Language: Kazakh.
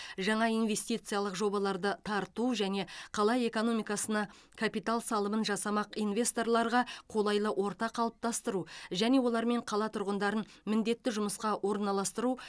жаңа инвестициялық жобаларды тарту және қала экономикасына капитал салымын жасамақ инвесторларға қолайлы орта қалыптастыру және олармен қала тұрғындарын міндетті жұмысқа орналастыру